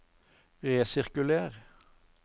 resirkuler